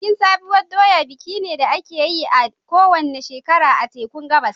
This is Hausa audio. Bikin sabuwar doya biki ne da ake yi a kowace shekara a tekun Gabas.